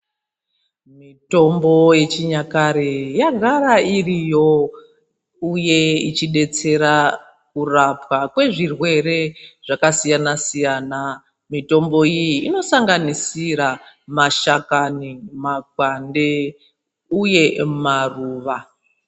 Mitombo yechinyakare yagara iriyo uye ichidetsera kurapwa kwezvirwere zvakasiyana siyana. Mitombo iyi inosanganisira mashakani, makwande uye maruva.